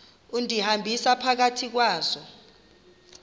undihambisa phakathi kwazo